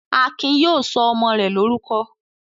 Akin yóò sọ ọmọ rẹ̀ lórúkọ.